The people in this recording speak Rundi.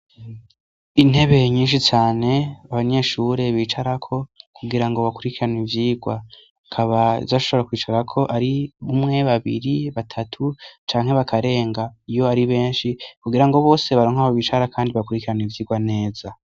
Intebe nyinshi cane abanyeshure bicarako kugirango bakurikirana ivyigwa, akaba zashobora kwicarako ari umwe, babiri, batatu canke bakarenga iyo ari benshi kugirango bose baronke aho bicara kandi bakurikirane ivyigwa neza.